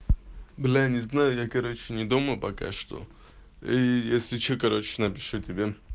бля не знаю я короче не дома пока что если что короче напишу тебе